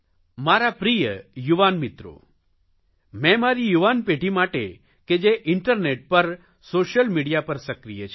મારા પ્રિય યુવાન મિત્રો મેં મારી યુવાન પેઢી માટે કે જે ઇન્ટરનેટ પર સોશિયલ મિડિયા પર સક્રિય છે